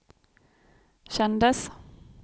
kändes